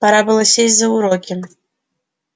пора было сесть за уроки